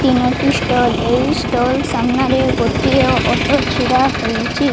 ତିନୋଟି ଷ୍ଟଲ୍ ଏଇ ଷ୍ଟଲ୍ ସାମ୍ନା ରେ ଗୋଟିଏ ଅଟ ଛିଡା ହୋଇଚି।